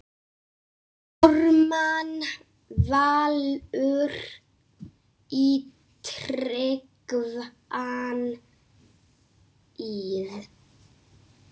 Ármann Valur ítrekar við